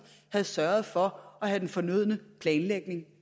havde sørget for at have den fornødne planlægning